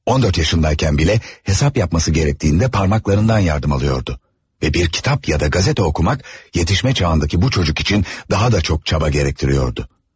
14 yaşındayken bile hesap yapması gerektiğinde parmaklarından yardım alıyordu ve bir kitap ya da gazete okumak yetişme çağındaki bu çocuk için daha da çok çaba gerektiriyordu.